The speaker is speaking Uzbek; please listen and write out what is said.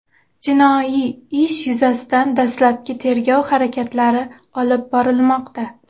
Jinoiy ish yuzasidan dastlabki tergov harakatlari olib borilmoqda.